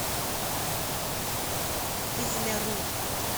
кизляру